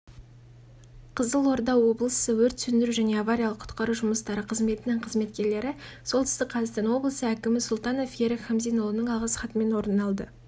қызылорда облысы өрт сөндіру және авариялық құтқару жұмыстары қызметінің қызметкерлері солтүстік қазақстан облысы әкімі сұлтанов ерік хамзинұлының алғыс хатымен оралды